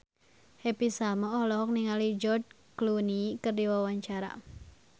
Happy Salma olohok ningali George Clooney keur diwawancara